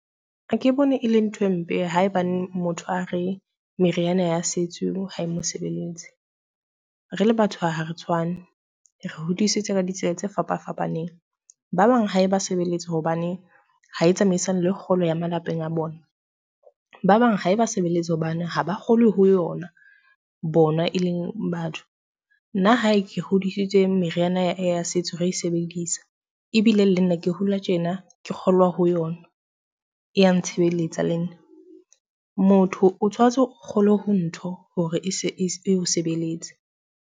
Ha ke bone e le nthwe mpe ha ebaneng motho a re meriana ya setso ha e mo sebeletse. Re le batho ha re tshwane, re hodisitswe ka ditsela tse fapafapaneng. Ba bang ha eba sebeletse hobane ha e tsamaisane le kgolo ya malapeng a bona. Ba bang ha eba sebeletse hobane ha ba kgolwe ho yona, bona e leng batho. Nna hae ke hodisitswe meriana ya setso re e sebedisa ebile le nna ke hola tjena ke kgolwa ho yona, e ya ntshebeletsa le nna. Motho o tshwantse o kgolwe ho ntho hore eo sebeletse.